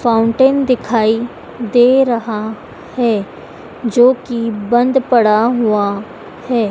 Fountain दिखाई दे रहा है जोकि बंद पड़ा हुआ है।